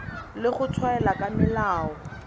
le go tshwaela ka melao